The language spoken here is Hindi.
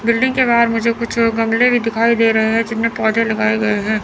बिल्डिंग के बाहर मुझे कुछ गमले भी दिखाई दे रहे है जिनमें पौधे लगाए गए है।